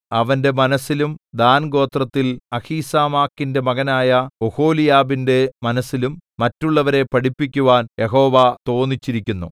അവന്റെ മനസ്സിലും ദാൻഗോത്രത്തിൽ അഹീസാമാക്കിന്റെ മകനായ ഒഹൊലിയാബിന്റെ മനസ്സിലും മറ്റുള്ളവരെ പഠിപ്പിക്കുവാൻ യഹോവ തോന്നിച്ചിരിക്കുന്നു